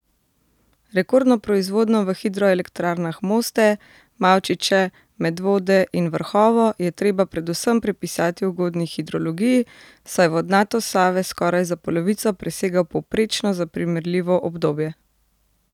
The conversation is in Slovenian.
Rekordno proizvodnjo v hidroelektrarnah Moste, Mavčiče, Medvode in Vrhovo je treba predvsem pripisati ugodni hidrologiji, saj vodnatost Save skoraj za polovico presega povprečno za primerljivo obdobje.